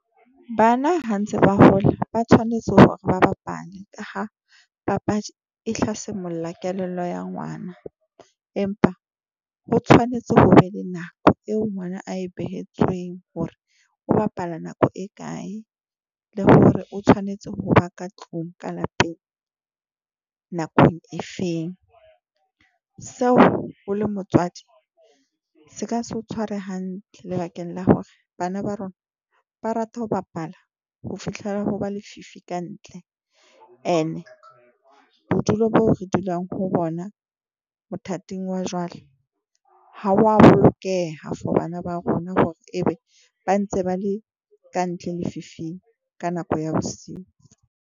Bana ha ntse ba hola ba tshwanetse hore ba bapale ka ha papadi e tla semolla kelello ya ngwana, empa o tshwanetse ho be le nako eo ngwana a e behetsweng hore o bapala nako e kae le hore o tshwanetse ho ba ka tlung ka lapeng nakong e feng. Seo o le motswadi se ka se o tshware hantle lebakeng la hore bana ba rona ba rata ho bapala ho fihlela ho ba lefifi ka ntle, ene bodulo boo re dulang ho bona mothating wa jwale, ha wa bolokeha for bana ba rona hore e be ba ntse ba le kantle lefifing ka nako ya bosiu.